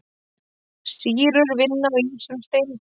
Sýrur vinna á ýmsum steindum.